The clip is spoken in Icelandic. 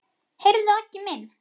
Heyrðu Aggi minn.